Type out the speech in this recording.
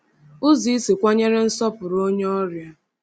Ụzọ isi kwanyere nsọpụrụ onye ọrịa.